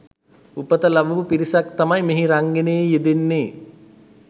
උපත ලබපු පිරිසක් තමයි මෙහි රංගනයේ යෙදෙන්නේ.